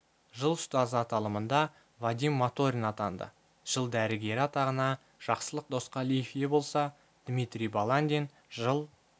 жыл ұстазы аталымында вадим моторин атанды жыл дәрігері атағына жақсылық досқалиев ие болса дмитрий баландин жыл